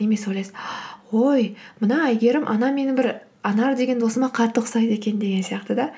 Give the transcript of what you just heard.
немесе ойлайсыз ой мына әйгерім анау менің бір анар деген досыма қатты ұқсайды екен деген сияқты да